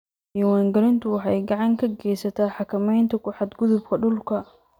Diiwaangelintu waxay gacan ka geysataa xakamaynta ku xadgudubka dhulka.